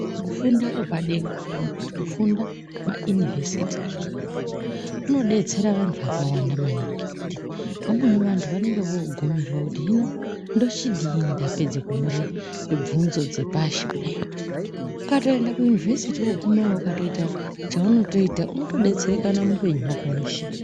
Kufunda kwepadera kana kuti kufunda kwepa yunivhesiti kunodetsera vantu vakawanda maningi ngekuti vamweni vantu vanenge vogumirwa kuti hino ndochidini ndapedze kunyore bvunzo dzepashi kudai. Ukaenda ku yunivhesiti wogumeyo ukatoita chaunotoita unotodetsereka muupenyu hwako hweshe.